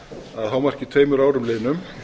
að hámarki tveimur árum liðnum